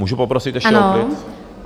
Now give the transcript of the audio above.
Můžu poprosit ještě o klid?